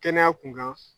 Kɛnɛya kun kan